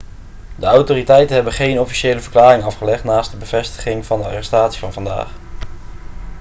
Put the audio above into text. de autoriteiten hebben geen officiële verklaring afgelegd naast de bevestiging van de arrestatie van vandaag